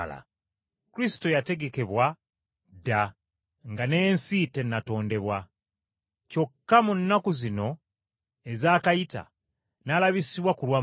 Kristo yategekebwa dda nga n’ensi tennatondebwa, kyokka mu nnaku zino ezaakayita n’alabisibwa ku lwammwe.